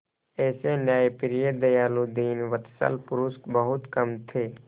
ऐसे न्यायप्रिय दयालु दीनवत्सल पुरुष बहुत कम थे